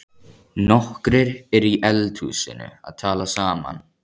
Nokkrir eru í eldhúsinu að tala saman.